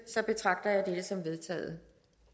betragter jeg dette som vedtaget